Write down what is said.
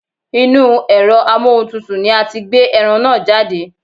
Inúu ẹ̀rọ amóhuntutù ni a ti gbé ẹran náà jáde.